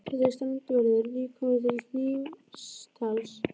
Þetta eru strandverðir, nýkomnir til Hnífsdals.